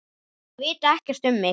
Þeir vita ekkert um mig.